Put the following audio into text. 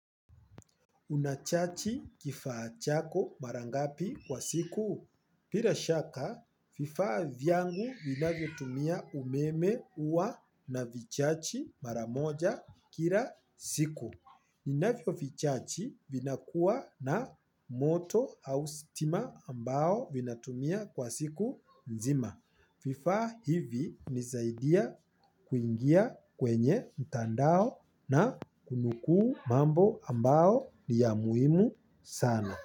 Una chaji kifaa chako mara ngapi kwa siku? Bila shaka, vifaa vyangu vinavyo tumia umeme huwa navichaji mara moja kila siku. Ninavyo vichaji vinakua na moto au stima ambao vinatumia kwa siku nzima. Vifaa hivi hunisaidia kuingia kwenye mtandao na kunukuu mambo ambayo niya muhimu sana.